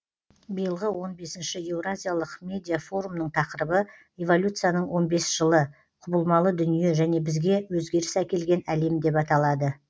биылғы он бесінші еуразиялық медиафорумның тақырыбы эволюцияның он бес жылы құбылмалы дүние және бізге өзгеріс әкелген әлем деп аталады